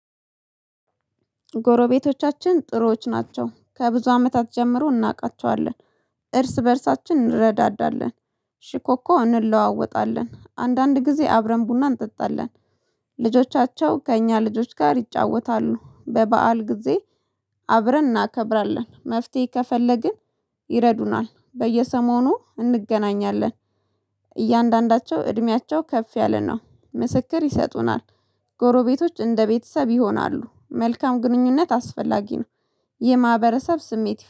ጎረቤቶቻችን ጥሩዎች ናቸው ከብዙ አመታት ጀምሮ እናውቃቸዋለን። እርስ በእርሳችን እንረዳዳለን። ሽኮኮ እንለዋወጣለን አንዳንድ ጊዜ አብረን ቡና እንጠጣለን። ልጆቻቸው ከእኛ ልጆች ጋር ይጫወታሉ በበዓል ጊዜ። አብረን እናከብራለን። መፍትሄ ከፈለግን ይረዱናል በየሰሞኑ እንገናኛለን። እያንዳንዳቸው እድሜያቸው ከፍ ያለ ነው ምስክር ይሰጡናል። ጎሮቤቶች እንደ ቤተሰብ ይሆናሉ። መልካም ግንኙነት አስፈላጊ ነው። የማህበረሰብ ስሜት